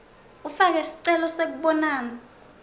ufake sicelo sekubonana